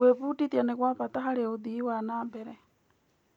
Gwĩbundithia nĩ gwa bata harĩ ũthii wa na mbere.